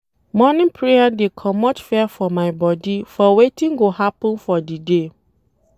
Morning prayer dey comot fear for my bodi for wetin go happen for di day.